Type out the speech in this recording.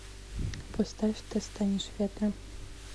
поставь ты станешь ветром